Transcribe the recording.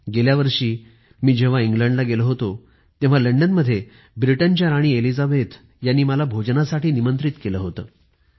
गेल्या वर्षी मी जेव्हा इंग्लंडला गेलो होतो तेव्हा लंडनमध्ये ब्रिटनची राणी एलिझाबेथ यांनी मला भोजनासाठी निमंत्रित केलं होतं